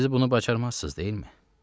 Siz bunu bacarmazsınız, deyilmi?